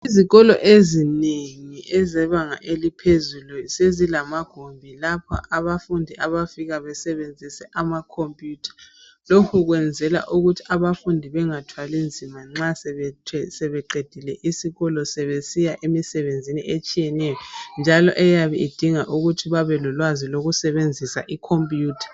Izikolo ezinengi ezebanga eliphezulu sezilamagumbi lapha abafundi abafika basebenzise amakhomphuyutha. Lokhu kwenzela ukuthi abafundi bengathwali nzima ,nxa sebeqedile isikolo sebesiya emisebenzini etshiyeneyo .Njalo eyabe idinga ukuthi bebelolwazi lokusebenzisa ikhompuyutha.